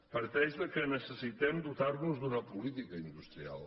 parteix del fet que necessitem dotar nos d’una política industrial